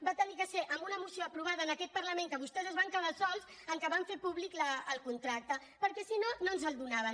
va haver de ser amb una moció aprovada en aquest parlament que vostès es van quedar sols en què van fer públic el contracte perquè si no no ens el do·naven